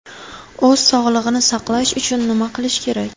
O‘z sog‘lig‘ini saqlash uchun nima qilish kerak?